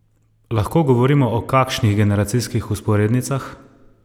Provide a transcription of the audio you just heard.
Lahko govorimo o kakšnih generacijskih vzporednicah?